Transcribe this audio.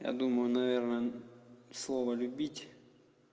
я думаю наверное слова любить